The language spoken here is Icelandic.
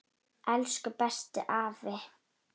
Elsku bestu afi.